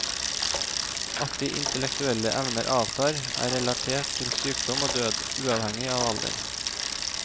At de intellektuelle evner avtar, er relatert til sykdom og død, uavhengig av alder.